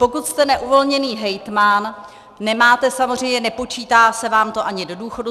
Pokud jste neuvolněný hejtman, nemáte samozřejmě, nepočítá se vám to ani do důchodu.